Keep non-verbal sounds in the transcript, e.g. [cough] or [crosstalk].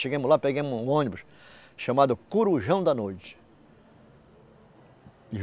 Chegamos lá, pegamos um ônibus chamado Corujão da Noite. [unintelligible]